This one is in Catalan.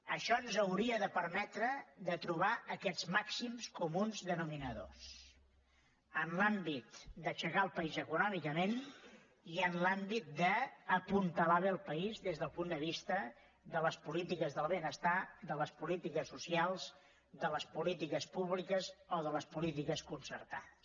això ens hauria de permetre de trobar aquests màxims comuns denominadors en l’àmbit d’aixecar el país econòmicament i en l’àmbit d’apuntalar bé el país des del punt de vista de les polítiques del benestar de les polítiques so cials de les polítiques públiques o de les polítiques concertades